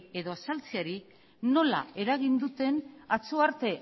edo azaltzeari nola eragin duten atzo arte